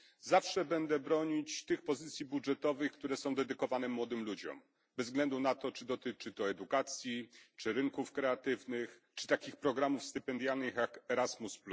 Zawsze będę bronić tych pozycji budżetowych, które są dedykowane młodym ludziom bez względu na to, czy dotyczy to edukacji, czy rynków kreatywnych, czy takich programów stypendialnych jak Erasmus.